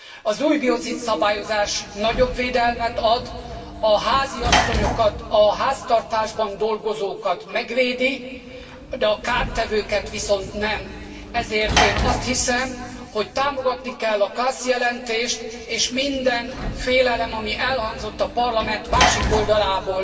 Az új biocid szabályozás nagyobb védelmet ad, a háziasszonyokat, a háztartásban dolgozókat megvédi, de a kártevőket viszont nem, ezért én azt hiszem, hogy támogatni kell a Klaß jelentést és minden félelem, ami elhangzott a Parlament másik oldalából